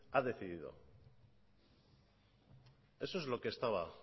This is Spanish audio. ha decidido eso es lo que estaba